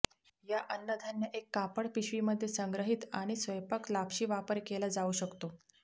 या अन्नधान्य एक कापड पिशवी मध्ये संग्रहित आणि स्वयंपाक लापशी वापर केला जाऊ शकतो